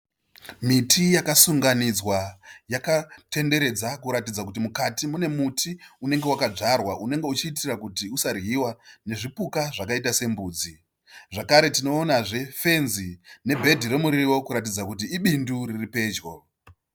Miti yakasunganidzwa yakatenderedza kuratidza kuti mukati mune muti unenge wakadzwarwa unenge uchiitira kuti usariwa nezvipuka zvakaita sembudzi. Zvakare tinoonanzve fenzi nebhedi remuriwo kuratidza kuti ibindu riri pedyo. .